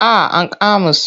Ah ankama su.